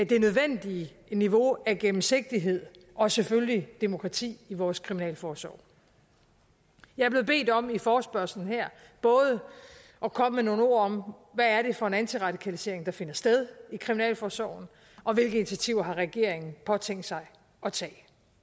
det nødvendige niveau af gennemsigtighed og selvfølgelig demokrati i vores kriminalforsorg jeg er blevet bedt om i forespørgslen her både at komme med nogle ord om hvad det er for en antiradikalisering der finder sted i kriminalforsorgen og hvilke initiativer regeringen har tænkt sig at tage